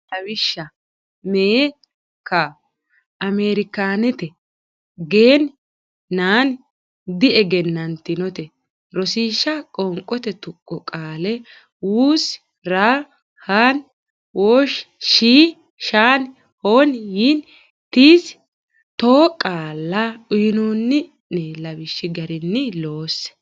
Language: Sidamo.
Lawishsha mee kaa Ameerikaanete gen nan diegennantinote Rosiishsha Qoonqote Tuqqo Qaale wus raa haan wosh shii shan hon yin tis too qaalla uynoonni ne lawishshi garinni loosse.